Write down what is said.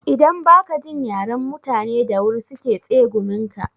Idan ba ka jin yaren mutani da wuri su ke tsegumin ka.